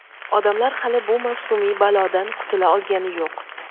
odamlar hali bu mavsumiy balodan qutula olgani yo‘q.